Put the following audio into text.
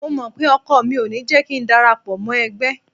Mo mọ̀ pé ọkọ mi ò ní jẹ́ kíi darapọ̀ mọ́ ẹgbẹ́.